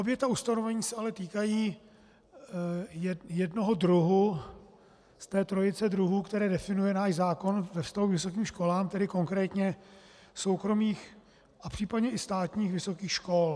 Obě ta ustanovení se ale týkají jednoho druhu z té trojice druhů, které definuje náš zákon ve vztahu k vysokým školám, tedy konkrétně soukromých a případně i státních vysokých škol.